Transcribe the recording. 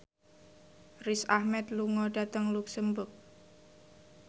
Riz Ahmed lunga dhateng luxemburg